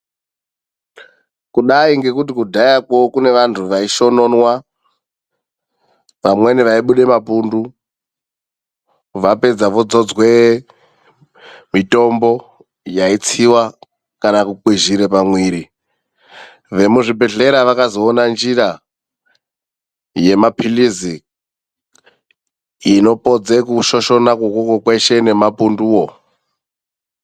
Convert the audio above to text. Kudai kuri kudhaya kwedu kune vandu vaishoshonwa vamweni vachibuda mapundu vapedza vodzodzwa mitombo yaitsiiwa kana kukwizhira pamuviri vemuzvibhehleya vakazoona njira yemapirizi inopedza kushoshona nemapundu.